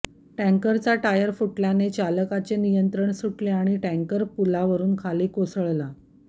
टँकरचा टायर फुटल्याने चालकाचे नियंत्रण सुटले आणि टँकर पुलावरुन खाली कोसळला